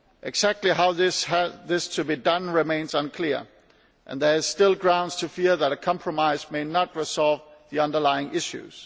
Exactly how this is to be done remains unclear, and there are still grounds to fear that a compromise may not resolve the underlying issues.